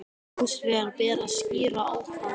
Hins vegar ber að skýra ákvæðin í